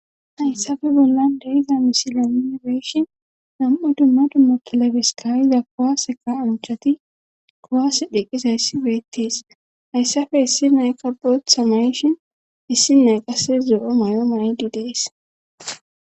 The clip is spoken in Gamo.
hayssafe bollan deiza misilamibeeshin nam7u dumma dumma kilabesikayiza kowaseka unchati kowaase dheqqisayssi beettees hayssafe issi nayka bootha mayshin issi nayqasse zoo7o may7o mayidi dees